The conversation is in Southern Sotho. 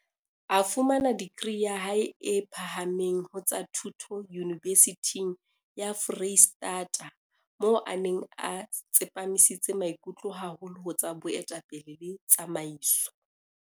A fumana degree ya hae e phahameng ho tsa Thuto Yunibesithing ya Foreisetata moo a neng a tsepamisitse maikutlo haholo ho tsa Boetapele le Tsamaiso.